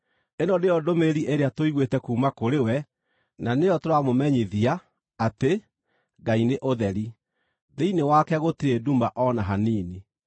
Ĩno nĩyo ndũmĩrĩri ĩrĩa tũiguĩte kuuma kũrĩ we, na nĩyo tũramũmenyithia, atĩ: Ngai nĩ ũtheri; thĩinĩ wake gũtirĩ nduma o na hanini.